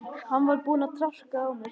Hann var búinn að traðka á mér.